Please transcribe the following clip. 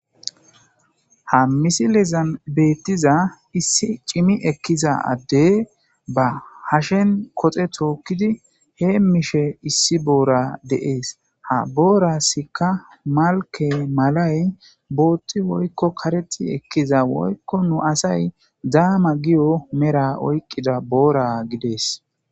Ha misilezan beettiza issi cimi ekkiza addey ba hashen koxe tookkidi he mishe issi boora deees ha boorasikka malke malay bootti woykko kareti ekkiza woykko nu asay zaama giyo mera oyqqida boora gidees.